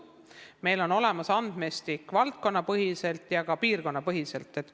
Meil on olemas valdkonnapõhine ja ka piirkonnapõhine andmestik.